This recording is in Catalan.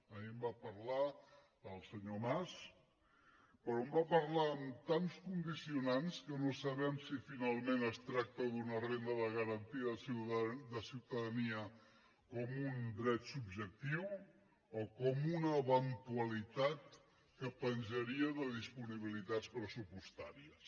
ahir en va parlar el senyor mas però en va parlar amb tants condicionants que no sabem si finalment es tracta d’una renda de garantia de ciutadania com un dret subjectiu o com una eventualitat que penjaria de disponibilitats pressupostàries